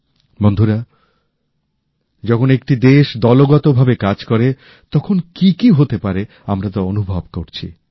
বন্ধুরা যখন একটি দেশ দলগতভাবে কাজ করে তখন কি কি হতে পারে আমরা তা অনুভব করছি